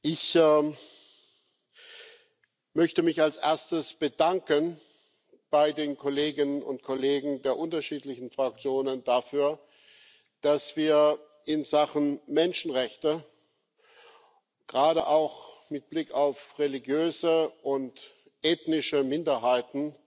Ich möchte mich als erstes bei den Kolleginnen und Kollegen der unterschiedlichen Fraktionen dafür bedanken, dass wir in Sachen Menschenrechte gerade auch mit Blick auf religiöse und ethnische Minderheiten